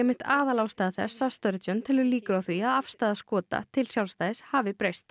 einmitt aðalástæða þess að telur líkur á því að afstaða Skota til sjálfstæðis hafi breyst